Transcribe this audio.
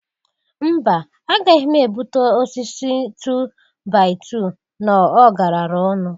Mba! Agaghị m ebuta osisi tu-bai-tu n'ọgarara ọnụ.